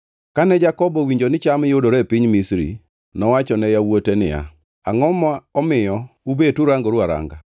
Kane Jakobo owinjo ni cham yudore e piny Misri, nowacho ne yawuote niya, “Angʼo ma omiyo ubet urangoru aranga?”